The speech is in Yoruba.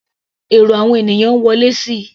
Èrò àwọn ènìyàn ń wọlé síi.